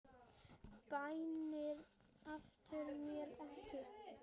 Bænir aftra mér ekki.